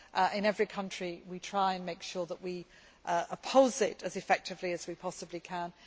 is wrong. In every country we try to make sure that we oppose it as effectively as we possibly